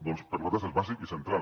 doncs per nosaltres és bàsic i central